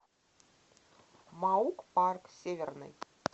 маук парк северный